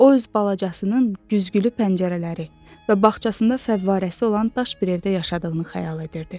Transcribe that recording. O öz balacasının güzgülü pəncərələri və bağçasında fəvvarəsi olan daş bir evdə yaşadığını xəyal edirdi.